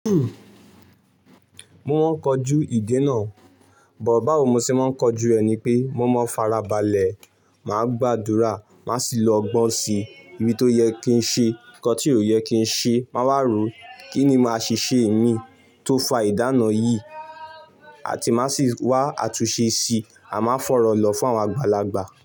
Mo máa ń kojú ìdènà o, but báwo mo ṣe máa ń kojú ẹ̀ ni pé mo máa ń farabalẹ̀, màá gbàdúrà, màá sì lọ gbọ́n sí ibi tó yẹ kí n ṣe nǹkan tí ò yẹ kí n ṣe, màá wá rò kíni màá ṣèṣe mi tó fa ìdená yìí àti ma sii waa àtúnṣe sii maa fi ọrọ lọ fún àwọn àgbàlagbà.